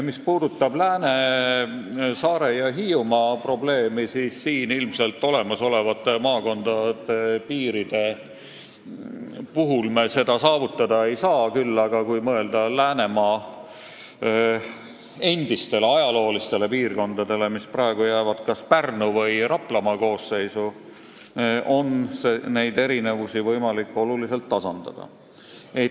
Mis puudutab Lääne-, Saare- ja Hiiumaa probleemi, siis siin ilmselt olemasolevate maakondade piiride baasil me seda saavutada ei saa, küll aga, kui mõelda Läänemaa endistele ajaloolistele piirkondadele, mis praegu jäävad kas Pärnu- või Raplamaa koosseisu, siis on neid erinevusi võimalik oluliselt tasandada.